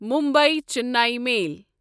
Mumbai Chennai میل